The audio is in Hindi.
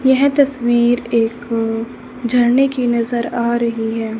यह तस्वीर एक झरने की नजर आ रही है।